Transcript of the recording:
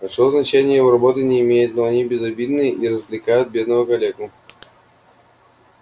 большого значения его работы не имеют но они безобидны и развлекают бедного калеку